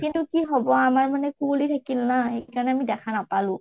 কিন্তু কি হʼব আমাৰ মানে কুঁৱলি থাকিল না, সেইকাৰণে আমি দেখা নাপালো